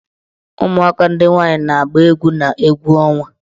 Ụmụaka ndị nwaanyị na-agba egwu n' egwu ọnwa.